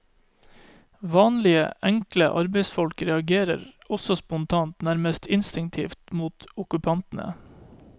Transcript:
Vanlige, enkle arbeidsfolk reagerer også spontant, nærmest instinktivt mot okkupantene.